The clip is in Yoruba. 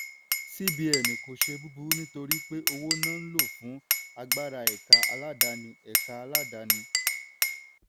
cbn kò ṣe búburú nítorí pé owó náà lo fún agbára ẹ̀ka aládáàni. ẹ̀ka aládáàni.